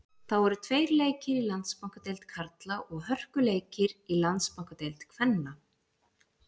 Þá eru tveir leikir í Landsbankadeild karla og hörkuleikur í Landsbankadeild kvenna.